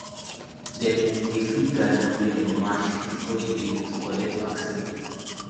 dem dey feed garlic wey dem mash before the day to collect vaccine